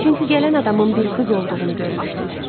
Çünki gələn adamın bir qız olduğunu görmüşdülər.